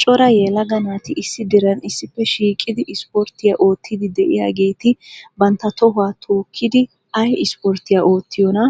Cora yelaga naati issi diran issippe shiiqidi isporttiyaa oottidi de'iyaageeti bantta tohuwa tookidi ay isporttiyaa oottiyoona?